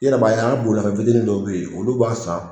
I yɛrɛ b'a y'an boimafɛn fitiinin dɔ bɛ yen olu b'a san.